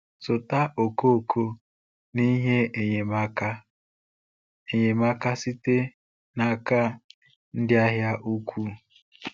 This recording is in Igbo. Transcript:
Zụta okooko na ihe enyemaka enyemaka site n’aka ndị ahịa ukwu.